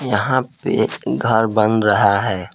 यहां पे घर बन रहा है।